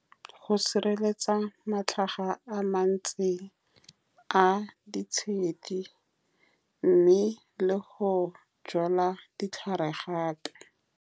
Go sireletsa matlhaga a mantsi a ditshedi, mme le go jala ditlhare gape.